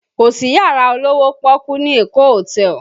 Kò sí yàrá olówó pọ́ọ́kú ní Èkó hotel